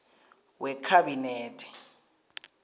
wekhabinethe